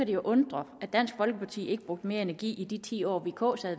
det jo undre at dansk folkeparti ikke brugte mere energi i de ti år vk